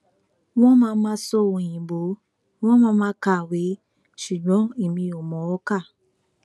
wọn máa máa sọ òyìnbó wọn máa máa kàwé ṣùgbọn èmi ò mọ ọn kà